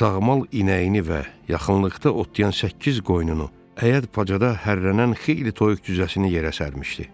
sağmal inəyini və yaxınlıqda otlayan səkkiz qoyununu, həyət bacada hərlənən xeyli toyuq cücəsini yerə sərmişdi.